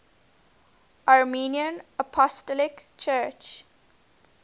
armenian apostolic church